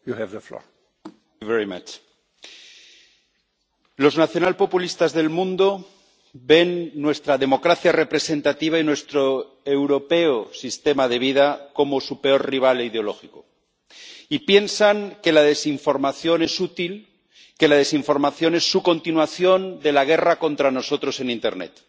Señor presidente, los nacional populistas del mundo ven nuestra democracia representativa y nuestro sistema de vida europeo como su peor rival ideológico, y piensan que la desinformación es útil, que la desinformación es su continuación de la guerra contra nosotros en internet.